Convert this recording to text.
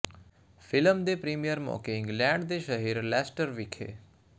film ਦੇ premiere ਮੌਕੇ England ਦੇ ਸ਼ਹਿਰ ਲੈਸਟਰ ਵਿਖੇ